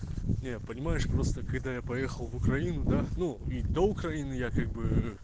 не понимаешь просто когда я поехал в украину да ну и до украины я как бы